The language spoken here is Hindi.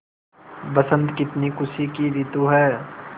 बसंत कितनी खुशी की रितु है